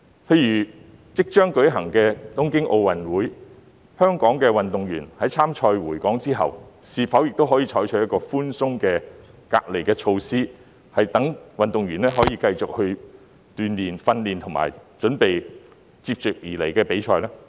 例如即將舉行的東京奧運會，在香港的運動員比賽完畢回港後，是否亦可以採取一個較寬鬆的隔離措施，讓他們可以繼續鍛鍊、訓練和準備接下來的比賽呢？